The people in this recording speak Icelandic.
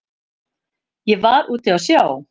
Ég var úti á sjó.